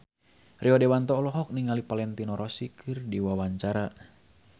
Rio Dewanto olohok ningali Valentino Rossi keur diwawancara